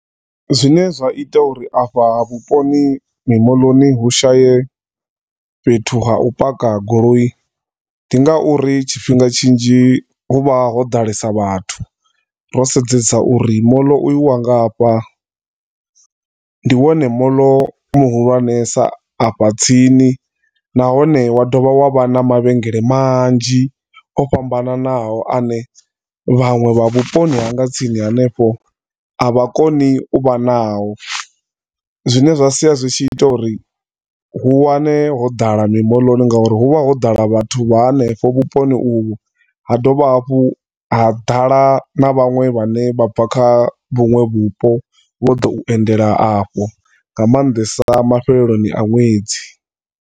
Zwine zwa ita uri afha vhuponi, mimoḽoni hu shaye fhethu ha u paka goloi, ndi ngauri tshifhinga tshinzhi hu vha ho ḓalesa vhathu. Ro sedzesa uri moḽo uyu wa nga hafha, ndi wone moḽo muhulwanesa afha tsini, nahone wa dovha wa vha na mavhengele manzhi o fhambananaho ane vhanwe vha vhuponi ha nga tsini hanefho avha koni u vha nao, zwine zwa sia zwi tshi ita uri u wane hoḓala mimoḽoni ngauri hu vha ho ḓala vhathu vha hanefha vhuponi uvhu, ha dovha hafhu ha ḓala na vhanwe vha ne vha bva kha vhunwe vhupo vho to endela afhu, nga maanḓesa mafheleloni ha nwedzi.